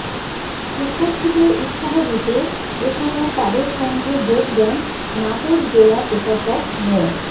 শিক্ষার্থীদের উৎসাহ দিতে এ সময় তাদের সঙ্গে যোগ দেন নাটোর জেলা প্রশাসক মো